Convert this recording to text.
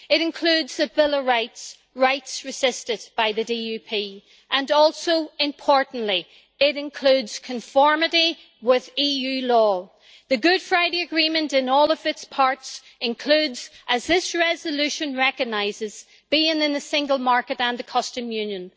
It includes a Bill of Rights rights resisted by the DUP and also, importantly, it includes conformity with EU law. The Good Friday Agreement in all its parts includes, as this resolution recognises, being in the single market and the Customs Union.